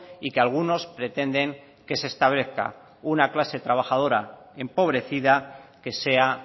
y que algunos pretenden que se establezca una clase trabajadora empobrecida que sea